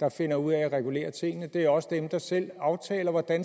der finder ud af at regulere tingene det er også dem der selv aftaler hvordan